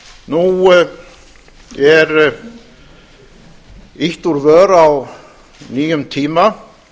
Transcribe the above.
nú er ýtt úr vör á nýjum tíma